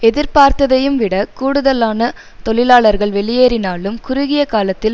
எதிர்பார்த்ததையும் விடக் கூடுதலான தொழிலாளர்கள் வெளியேறினாலும் குறுகிய காலத்தில்